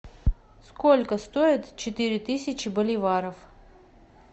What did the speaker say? сколько стоит четыре тысячи боливаров